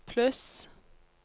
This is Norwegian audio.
pluss